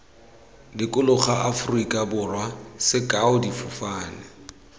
dikologa aforika borwa sekao difofane